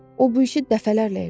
O bu işi dəfələrlə elədi.